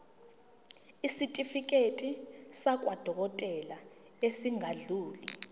isitifiketi sakwadokodela esingadluli